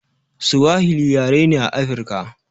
Suwahili yare ne a afruka